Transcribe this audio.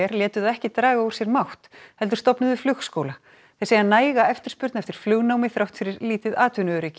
létu það ekki draga úr sér mátt heldur stofnuðu flugskóla þeir segja næga eftirspurn eftir flugnámi þrátt fyrir lítið atvinnuöryggi í